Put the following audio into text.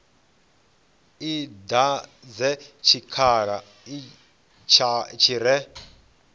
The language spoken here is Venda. i dadze tshikhala tshi re